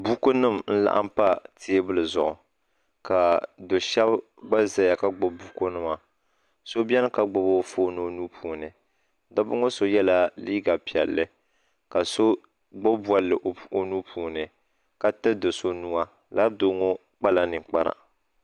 Buku nima nlaɣim pa tɛɛbuli zuɣu ka do shɛb gba zaya ka gbib bunkum nima so beni ka gbib o foon o nuui dabba ŋɔ so yɛ la liiga pɛlli ka so gbib bolli o nuupuuni ka tirti so nuuwa lala doo ŋɔ kpala ninkpara